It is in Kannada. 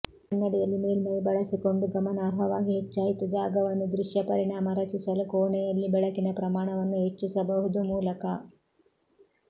ಕನ್ನಡಿಯಲ್ಲಿ ಮೇಲ್ಮೈ ಬಳಸಿಕೊಂಡು ಗಮನಾರ್ಹವಾಗಿ ಹೆಚ್ಚಾಯಿತು ಜಾಗವನ್ನು ದೃಶ್ಯ ಪರಿಣಾಮ ರಚಿಸಲು ಕೋಣೆಯಲ್ಲಿ ಬೆಳಕಿನ ಪ್ರಮಾಣವನ್ನು ಹೆಚ್ಚಿಸಬಹುದು ಮೂಲಕ